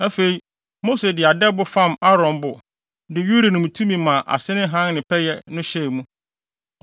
Afei, Mose de adɛbo fam Aaron bo de Urim ne Tumim a ase ne hann ne pɛyɛ no hyɛɛ mu.